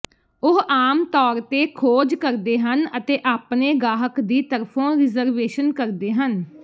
ਉਹ ਆਮ ਤੌਰ ਤੇ ਖੋਜ ਕਰਦੇ ਹਨ ਅਤੇ ਆਪਣੇ ਗਾਹਕ ਦੀ ਤਰਫੋਂ ਰਿਜ਼ਰਵੇਸ਼ਨ ਕਰਦੇ ਹਨ